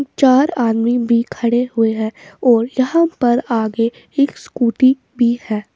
चार आदमी भी खड़े हुए हैं और यहाँ पर आगे एक स्कूटी भी है।